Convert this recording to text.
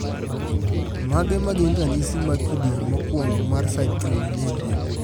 Mage magin ranyisi mag kidieny mokuongo mar Citrullinemia?